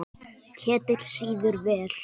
Ketill sýður vel.